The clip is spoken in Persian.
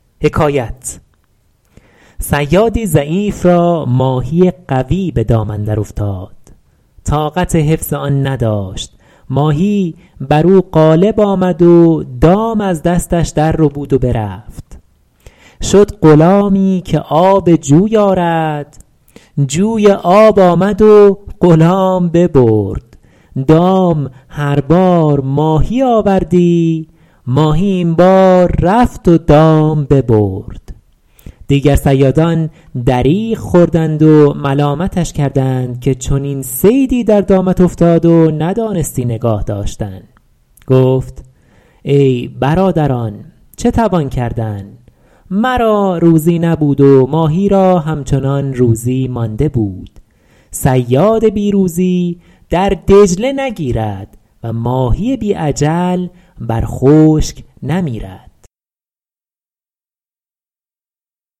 صیادی ضعیف را ماهی قوی به دام اندر افتاد طاقت حفظ آن نداشت ماهی بر او غالب آمد و دام از دستش در ربود و برفت شد غلامی که آب جوی آرد جوی آب آمد و غلام ببرد دام هر بار ماهی آوردی ماهی این بار رفت و دام ببرد دیگر صیادان دریغ خوردند و ملامتش کردند که چنین صیدی در دامت افتاد و ندانستی نگاه داشتن گفت ای برادران چه توان کردن مرا روزی نبود و ماهی را همچنان روزی مانده بود صیاد بی روزی در دجله نگیرد و ماهی بی اجل بر خشک نمیرد